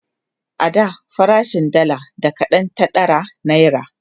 a da farashin dalla da kaɗan ta ɗara naira